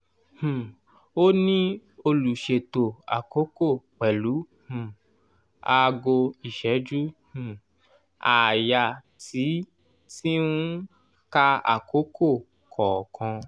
um óní olùṣètò àkókò pẹ̀lú um aago ìṣẹ́jú um àáyá tí tí ń ka àkókò kọ̀ọ̀kan